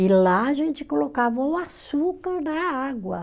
E lá a gente colocava o açúcar na água.